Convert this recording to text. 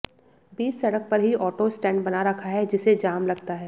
बीच सड़क पर ही ऑटो स्टैंड बना रखा है जिसे जाम लगता है